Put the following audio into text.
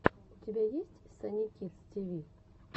у тебя есть санни кидс ти ви